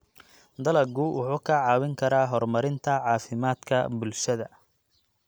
Dalaggu wuxuu kaa caawin karaa horumarinta caafimaadka bulshada.